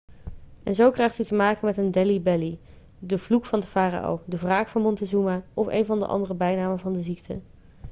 en zo krijgt u te maken met een delhi belly' de vloek van de farao de wraak van montezuma of een van de andere bijnamen van de ziekte